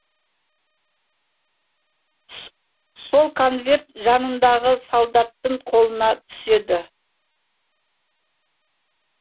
сол конверт жанындағы солдаттың қолына түседі